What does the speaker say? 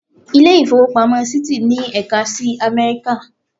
Ilé ìfowópamọ́ Citi ní ẹ̀ka sí Amẹ́ríkà.